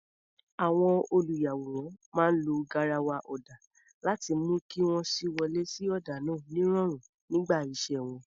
Àwọn olùyàwòrán máa ń lo garawa ọ̀dà láti mú kí wọ́n sì wọlé sí ọ̀dà náà nírọ̀rùn nígbà iṣẹ́ wọn.